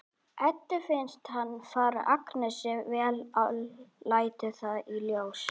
Eddu finnst hann fara Agnesi vel og lætur það í ljós.